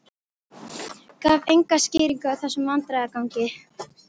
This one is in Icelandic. Gaf enga skýringu á þessum vandræðagangi.